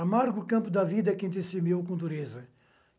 Amargo campo da vida é quem decimeu com dureza.